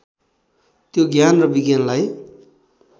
त्यो ज्ञान र विज्ञानलाई